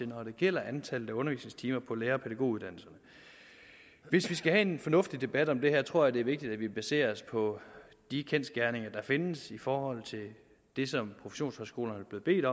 når det gælder antallet af undervisningstimer på lærer og pædagoguddannelserne hvis vi skal have en fornuftig debat om det her tror jeg det er vigtigt at vi baserer os på de kendsgerninger der findes i forhold til det som professionshøjskolerne er blevet